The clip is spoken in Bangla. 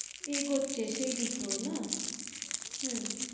এগোচ্ছে সেই দিকেও না? হম